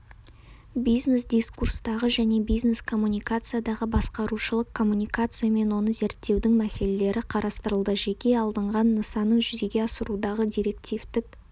бизнес-дискурстағы және бизнес-коммуникациядағы басқарушылық коммуникация мен оны зерттеудің мәселелері қарастырылды жеке алынған нысанын жүзеге асырудағы директивтік